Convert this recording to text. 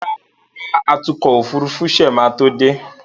Rárá, atúnkò òfurufú ṣe máa tó dé